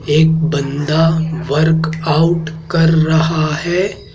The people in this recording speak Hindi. एक बंदा वर्क आउट कर रहा है।